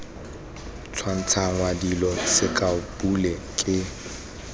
tshwantshangwa dilo sekao pule ke